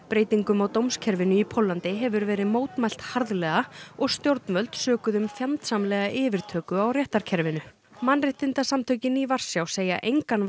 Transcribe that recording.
breytingum á dómskerfinu í Póllandi hefur verið mótmælt harðlega og stjórnvöld sökuð um fjandsamlega yfirtöku á réttarkerfinu mannréttindasamtökin í Varsjá segja engan